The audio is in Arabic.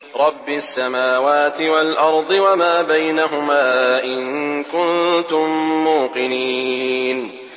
رَبِّ السَّمَاوَاتِ وَالْأَرْضِ وَمَا بَيْنَهُمَا ۖ إِن كُنتُم مُّوقِنِينَ